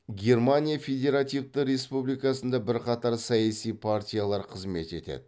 германия федеративті республикасында бірқатар саяси партиялар қызмет етеді